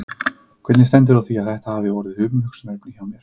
Hvernig stendur á því að þetta hafa orðið umhugsunarefni hjá mér?